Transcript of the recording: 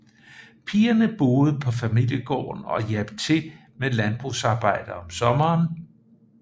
Pigerne boede på familiegården og hjalp til med landbrugsarbejde om sommeren